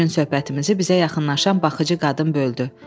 Şirin söhbətimizi bizə yaxınlaşan baxıcı qadın böldü.